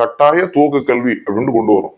கட்டாயதுவக்க கல்வி அப்டின்னு கொண்டு வரும்